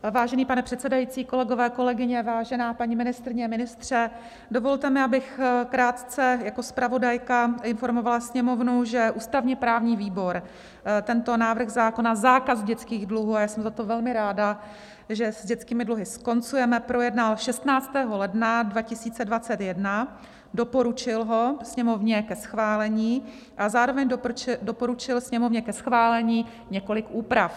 Vážený pane předsedající, kolegové, kolegyně, vážená paní ministryně, ministře, dovolte mi, abych krátce jako zpravodajka informovala Sněmovnu, že ústavně-právní výbor tento návrh zákona, zákaz dětských dluhů - a já jsem za to velmi ráda, že s dětskými dluhy skoncujeme - projednal 16. ledna 2021, doporučil ho Sněmovně ke schválení a zároveň doporučil Sněmovně ke schválení několik úprav.